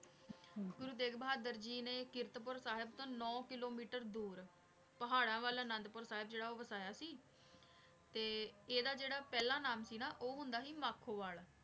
ਗੁਰੂਰ ਤੇਗ ਬਹਾਦੁਰ ਜੀ ਨੇ ਕਰਤ ਪੁਰ ਸਾਹਿਬ ਤੋਂ ਨੋ ਕਿਲੋਮੀਟਰ ਦੂਰ ਪਹਾਰਾਂ ਵਾਲ ਅਨਾਦ ਪੁਰ